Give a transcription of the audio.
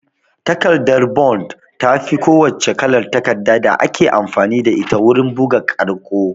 Takardar bond tafi ko wacce kalar takarda da ake amfani da ita wurin bugu ƙarƙo